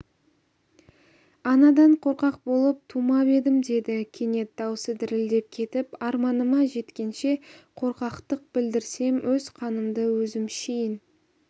анадан қорқақ болып тумап едім деді кенет даусы дірілдеп кетіп арманыма жеткенше қорқақтық білдірсем өз қанымды өзім ішейін